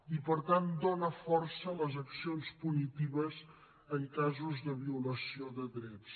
i per tant dona força a les accions punitives en casos de violació de drets